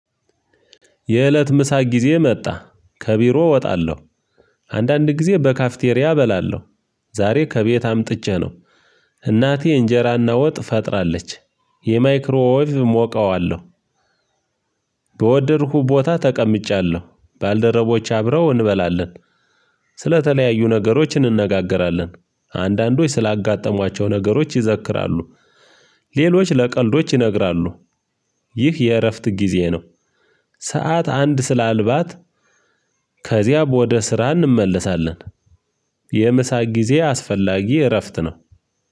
የእለት ምሳ ጊዜ መጣ ከቢሮ እወጣለሁ። አንዳንድ ጊዜ በካፍቴሪያ እበላለሁ። ዛሬ ከቤት አምጥቼ ነው። እናቴ እንጀራና ወጥ ፈጥራለች። የማይክሮ ወይቭ ሞቀዋለሁ። በወደድኩ ቦታ ተቀምጫለሁ ባልደረቦች አብረው እንበላለን። ስለተለያዩ ነገሮች እንነጋገራለን። አንዳንዶች ስላጋጠሟቸው ነገሮች ይዘክራሉ። ሌሎች ለቀልዶች ይነግራሉ። ይህ የእረፍት ጊዜ ነው። ሰዓት አንድ ስላልባት። ከዚያም ወደ ስራ እንመለሳለን። የምሳ ጊዜ አስፈላጊ እረፍት ነው።